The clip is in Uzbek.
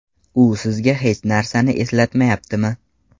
U sizga hech narsani eslatmayaptimi?